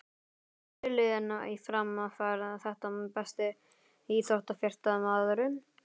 Fyrirliðinn í Fram fær þetta Besti íþróttafréttamaðurinn?